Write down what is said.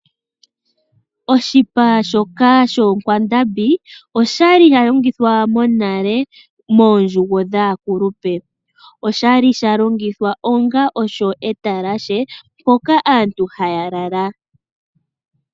Oshipa shoongombe oshali sha longithwa monale moondjugo dhaakulupe . Oshali sha longithwa onga osho etalashe mpoka aantu haya lala.